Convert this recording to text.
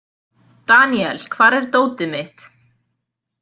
Daníel, hvar er dótið mitt?